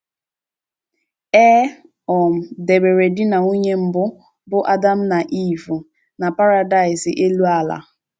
E um debere di na nwunye mbụ, bụ́ Adam na Iv, na paradáịs elu ala.